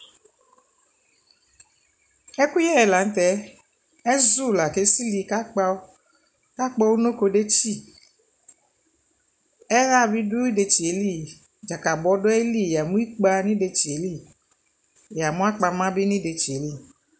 ɛkʋyɛ lantɛ, ɛzʋ la kʋ ɛsili kʋ akpawʋ kʋ akpɔ ʋnɔkɔ dɛkyi, ɛha bidʋ ɛdɛkyiɛ li, dzakabɔ dʋali? yamʋ ikpa nʋ ɛdɛkyɛ li , yamʋ akpama bi nʋ ɛdɛkyɛ li